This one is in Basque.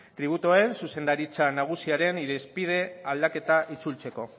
tributuen zuzendaritza nagusiaren irizpide aldaketa itzultzeko